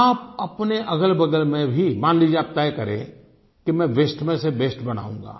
आप अपने अगलबगल में भी मान लीजिये आप तय करें कि मैं वास्ते में से बेस्ट बनाऊंगा